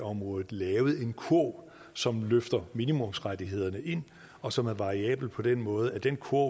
området lavet en kurv som løfter minimumsrettighederne ind og som er variabel på den måde at den kurv